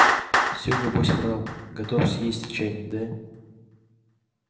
все небось врал готов съесть чайник да